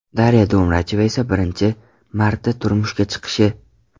Darya Domracheva esa birinchi marta turmushga chiqishi.